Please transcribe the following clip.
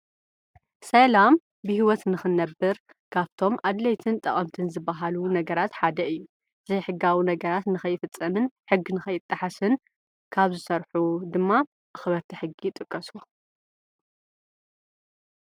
ሰኤላም ብሕይወት ንኽነብር ካብቶም ኣድለይትን ጠቐምትን ዝበሃሉ ነገራት ሓደይ እዩ ዘይሕጋዉ ነገራት ንኸይፍጸምን ሕግ ንኸይጥሓስን ካብ ዝሠርሑ ድማ እኽበርተ ሕጊ ጥቀሱ